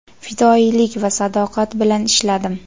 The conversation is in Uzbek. fidoyilik va sadoqat bilan ishladim.